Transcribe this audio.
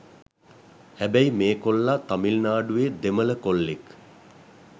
හැබැයි මේ කොල්ලා තමිල්නාඩුවේ දෙමල කොල්ලෙක්.